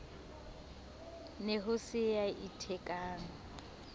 ne ho se ya ithekang